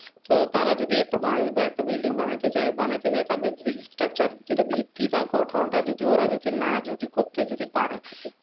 তো তারা যদি একটা বাড়ি বা একটা building বানাইতে চায়, বানাইতে চায় structure ভিত্তি বা গঠন টা ওরা যদি না যদি করতে যদি পারে,